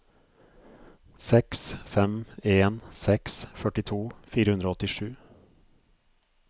seks fem en seks førtito fire hundre og åttisju